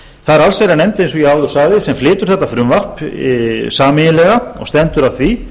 það er allsherjarnefnd eins og ég áður sagði sem flytur þetta frumvarp sameiginlega og stendur að því